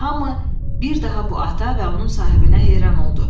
Hamı bir daha bu ata və onun sahibinə heyran oldu.